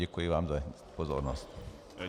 Děkuji vám za pozornost.